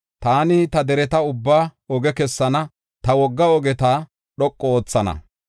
Taani ta dereta ubbaa oge kessana; ta wogga ogeta dhoqu oothana.